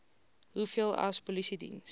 hoeveel sa polisiediens